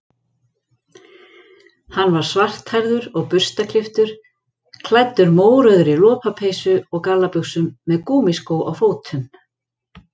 Hann var svarthærður og burstaklipptur, klæddur mórauðri lopapeysu og gallabuxum, með gúmmískó á fótum.